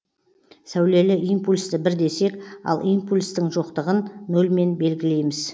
сәулелі импульсті бір десек ал импульстін жоқтыгын нольмен белгілейміз